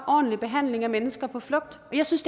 ordentlig behandling af mennesker på flugt jeg synes